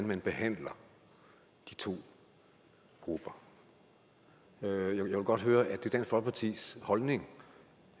man behandler de to grupper jeg vil godt høre er det dansk folkepartis holdning